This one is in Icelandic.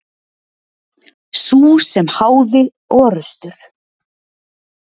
Sú sem háði orrustur.